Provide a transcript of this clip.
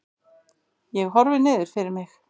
Ég horfi niður fyrir mig.